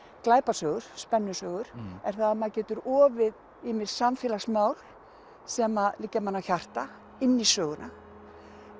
glæpasögur spennusögur er það að maður getur ofið ýmis samfélagsmál sem liggja manni á hjarta inn í söguna